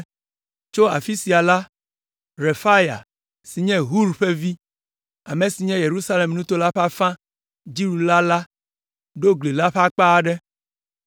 Tso afi sia la, Refaya si nye Hur ƒe vi, ame si nye Yerusalem nuto la ƒe afã dziɖula la ɖo gli la ƒe akpa aɖe.